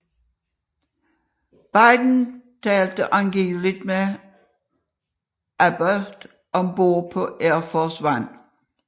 Biden talte angiveligt med Abbott om bord på Air Force One